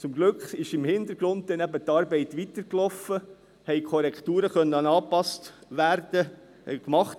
Zum Glück ist im Hintergrund dann eben die Arbeit weitergelaufen, und es haben Korrekturen gemacht werden können.